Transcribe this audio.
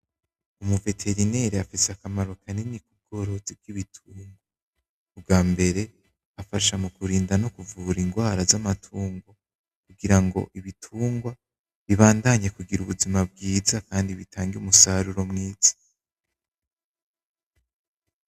Umu veterinaire afise akamaro kanini kubworozi bw'ibitungwa, ubwambere afasha mukurinda no mukuvura ingwara z'amatungwa kugira ngo ibitungwa bibandanye kugira ubuzima bwiza Kandi bitange umusaruro mwiza.